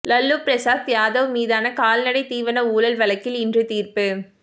லல்லு பிரசாத் யாதவ் மீதான கால்நடை தீவன ஊழல் வழக்கில் இன்று தீர்ப்பு